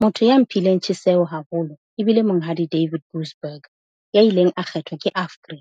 Motho ya mphileng tjheseho haholo e bile Monghadi David Gooseberg ya ileng a kgethwa ke AFGRI.